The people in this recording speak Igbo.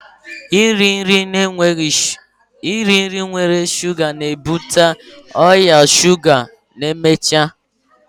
Iri nri nwere shuga na-enweghị ilu nwere ike ibute ọrịa shuga ma emechaa